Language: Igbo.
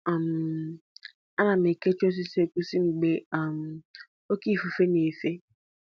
um Ana m ekechi osisi egusi m mgbe um oke ifufe na-efe